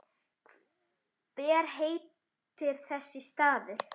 Hver heitir þessi staður?